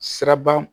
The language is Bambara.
Siraba